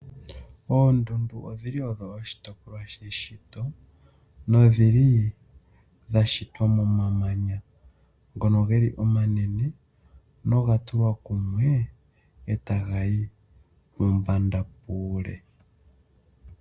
Oondundu odhili odho oshitopolwa sheshito nodhili dha shitwa momamanya ngono geli omanene noga tulwa kumwe e taga yi mombanda muule.